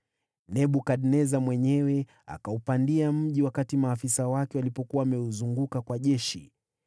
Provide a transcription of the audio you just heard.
Nebukadneza mwenyewe akaupandia mji wakati maafisa wake walipokuwa wameuzunguka kwa jeshi.